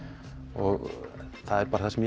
og það er bara það sem